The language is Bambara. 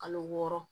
Kalo wɔɔrɔ